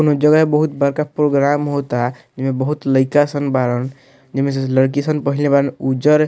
कोनो जगह है बहुत बड़का प्रोग्राम होता जेमें बहुत लइका सन बाड़न जेमें से लड़की सन पहिनले बाड़न उज्जर --